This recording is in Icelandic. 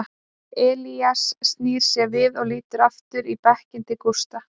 Elías snýr sér við og lítur aftur í bekkinn til Gústa.